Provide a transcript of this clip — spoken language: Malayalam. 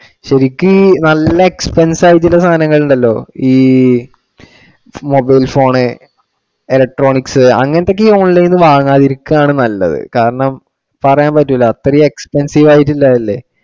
ശരിക്ക് ഈ നല്ല expensive ആയിട്ടുള്ള സാധനങ്ങൾ ഉണ്ടല്ലോ ഈ mobile phone, electronics അങ്ങിനത്തെ ഒക്കെ online ഇൽ നിന്ന് വാങ്ങാതിരിക്കുവാണ് നല്ലത് കാരണം പറയാൻ പറ്റൂല്ല അത്രെയും expensive ആയിട്ടുള്ളതല്ലേ.